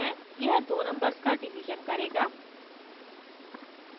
यह दो numbers का division करेगा